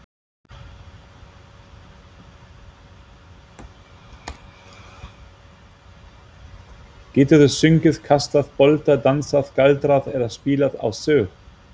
Geturðu sungið, kastað bolta, dansað, galdrað eða spilað á sög?